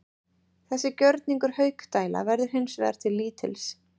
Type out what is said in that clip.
Þessi gjörningur Haukdæla verður hins vegar til lítils.